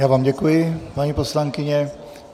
Já vám děkuji, paní poslankyně.